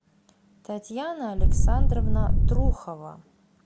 татьяна александровна трухова